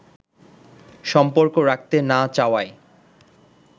সম্পর্ক রাখতে না চাওয়ায়